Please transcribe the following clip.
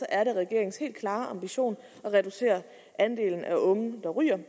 er det regeringens helt klare ambition at reducere andelen af unge der ryger